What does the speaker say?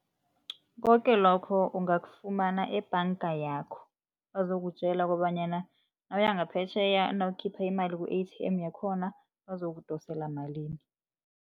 Koke lokho ungafumana ebhanga yakho, bazokutjela kobanyana nawuya ngaphetjheya nawukhipha iimali ku-A_T_M yakhona bazokudosela malini.